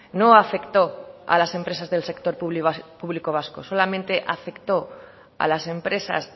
no afectó a las empresas del sector público vasco solamente afectó a las empresas